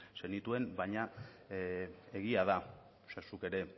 zenituen baina egia da zu ere